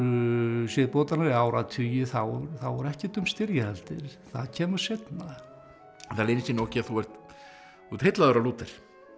siðbótarinnar eða áratugi þá var ekkert um styrjaldir það kemur seinna það leynir sér nú ekki að þú ert heillaður af Lúther